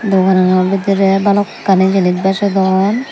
ranga ranga bidirey balokkani jinis bejodon.